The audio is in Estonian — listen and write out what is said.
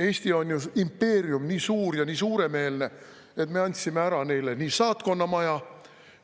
Eesti on ju impeerium, nii suur ja nii suuremeelne, et me andsime ära neile nii saatkonnamaja